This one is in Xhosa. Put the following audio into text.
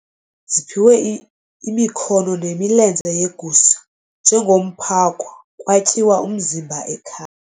ziphiwe imikhono nemilenze yegusha njengomphako kwatyiwa umzimba ekhaya.